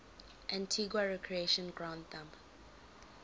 antigua recreation ground thumb